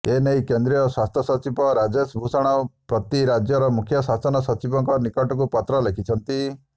ଏନେଇ କେନ୍ଦ୍ରୀୟ ସ୍ୱସ୍ଥ୍ୟ ସଚିବ ରାଜେଶ୍ ଭୂଷଣ ପ୍ରତି ରାଜ୍ୟର ମୁଖ୍ୟ ସାଶନ ସଚିବଙ୍କ ନିକଟକୁ ପତ୍ର ଲେଖିଛନ୍ତି